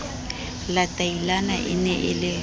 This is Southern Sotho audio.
latailana e ne e le